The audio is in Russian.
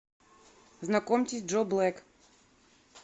знакомьтесь джо блэк